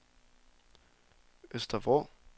Øster Vrå